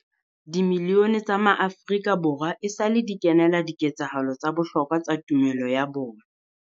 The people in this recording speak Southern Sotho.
Dimilione tsa maAfrika Borwa esale di kenela di ketsahalo tsa bohlokwa tsa tumelo ya bona.